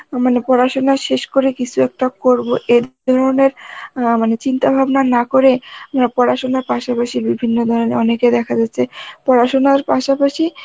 মানে পড়াশোনা শেষ করে কিসু একটা করব অ্যাঁ চিন্তাভাবনা না করে অ্যাঁ পড়াশুনার পাশাপাশি বিভিন্ন ধরনের অনেকে দেখা যাচ্ছে পড়াশোনার পাশাপাশি